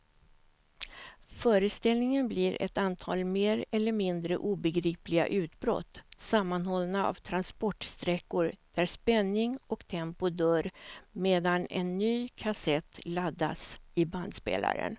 Föreställningen blir ett antal mer eller mindre obegripliga utbrott sammanhållna av transportsträckor där spänning och tempo dör medan en ny kassett laddas i bandspelaren.